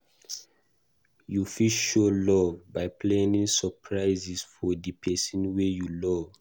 You fit show love by planning surprises for di person wey you love